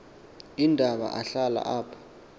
iindaba ahlala apho